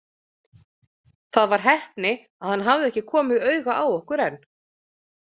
Það var heppni að hann hafði ekki komið auga á okkur enn.